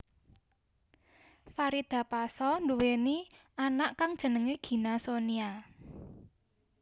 Farida pasha nduweni anak kang jenengé Gina Sonia